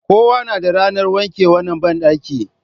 Kowa yana da ranar wanke wannan bandaki.